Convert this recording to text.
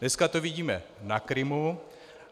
Dneska to vidíme na Krymu.